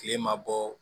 Kile ma bɔ